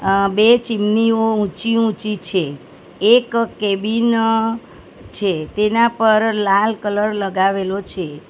અં બે ચીમનીઓ ઊંચી-ઊંચી છે એક કેબિન છે તેના પર લાલ કલર લગાવેલો છે.